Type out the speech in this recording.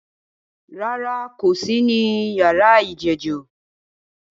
Rárá, n̄ kò sí ní yàrá ìjẹ́jọ́